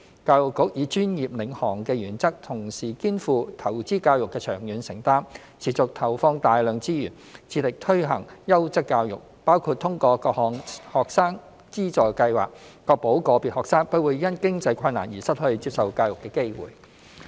教育局以專業領航的原則，同時肩負投資教育的長遠承擔，持續投放大量資源，致力推行優質教育，包括通過各項學生資助計劃確保個別學生不會因經濟困難而失去接受教育的機會。